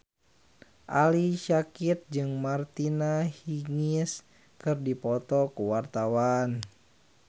Ali Syakieb jeung Martina Hingis keur dipoto ku wartawan